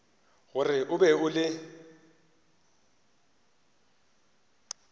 gore o be o le